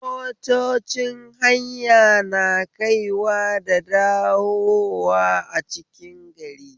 Motocin hanya na kaiwa da dawowa a cikin gari